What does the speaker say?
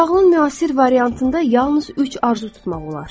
Nağılın müasir variantında yalnız üç arzu tutmaq olar.